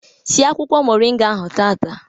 Sie akwụkwọ moringa ahụ tata!